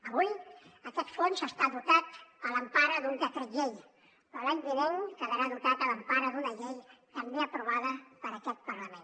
avui aquest fons està dotat a l’empara d’un decret llei però l’any vinent quedarà dotat a l’empara d’una llei també aprovada per aquest parlament